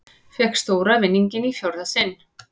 Fékk stóra vinninginn í fjórða sinn